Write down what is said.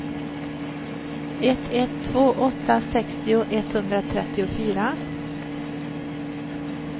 ett ett två åtta sextio etthundratrettiofyra